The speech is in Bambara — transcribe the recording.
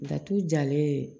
Datugu jalen